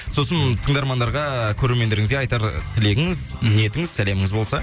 сосын тыңдармандарға көрермендеріңізге айтар тілегіңіз ниетіңіз сәлеміңіз болса